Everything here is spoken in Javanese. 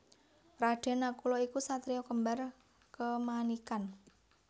Raden Nakula iku satriya kembar kemanikan